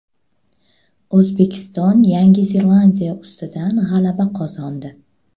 O‘zbekiston Yangi Zelandiya ustidan g‘alaba qozondi.